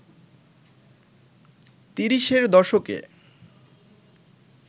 তিরিশের দশকে